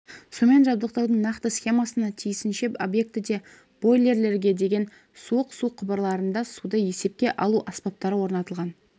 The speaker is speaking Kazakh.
сумен жабдықтаудың нақты схемасына тиісінше объектіде бойлерге дейін суық су құбырларында суды есепке алу аспаптары орнатылған